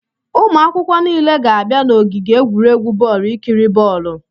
Ụmụ akwụkwọ niile ga-abịa n'ogige egwuregwu bọọlụ ikiri bọọlụ.